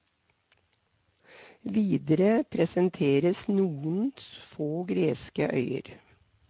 Videre presenteres noen få greske øyer.